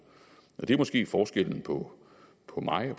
det er måske forskellen på på mig og